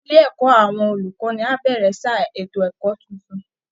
Ilé ẹ̀kọ́ àwọn olùkọ́ni á bẹ̀rẹ̀ sáà ètò ẹ̀kọ́ tuntun